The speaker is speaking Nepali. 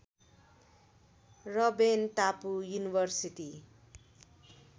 रबेन टापु युनिभर्सिटी